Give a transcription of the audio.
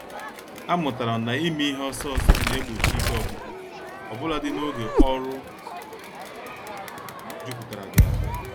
A mụtara m n'ime ihe ọsọ ọsọ na-egbochi ike ọgwụgwụ, obuladi n'oge ọrụ jupụtara gị ahụ.